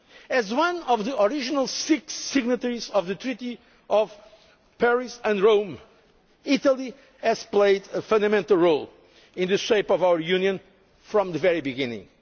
As one of the original six signatories of the Treaties of Paris and Rome, Italy has played a fundamental role in shaping our Union from the very beginning.